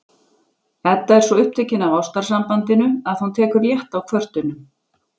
Edda er svo upptekin af ástarsambandinu að hún tekur létt á kvörtunum